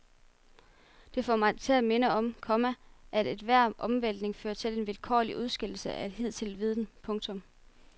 Det får mig til at minde om, komma at enhver omvæltning fører til en vilkårlig udskillelse af hidtidig viden. punktum